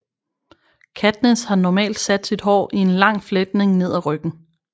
Katniss har normalt sat sit hår i en lang fletning ned ad ryggen